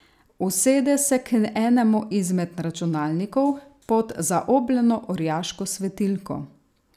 Usede se k enemu izmed računalnikov pod zaobljeno orjaško svetilko.